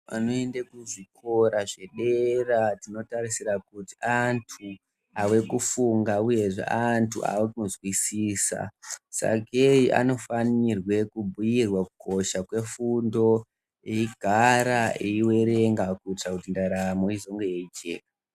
Anoende kuzvikora zvedera tinotarisira kuti antu ave kufunga, uyezve antu avakuzwisisa. Sakei anofanirwe kubhuirwa kukosha kwefundo eigara eiverenga kuitira kuti ndaramo izonge yeijeka.